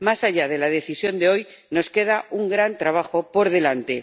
Más allá de la decisión de hoy, nos queda un gran trabajo por delante.